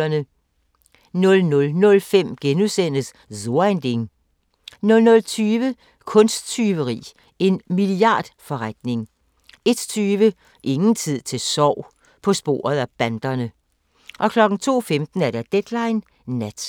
00:05: So ein Ding * 00:20: Kunsttyveri – en milliardforretning 01:20: Ingen tid til sorg – på sporet af banderne 02:15: Deadline Nat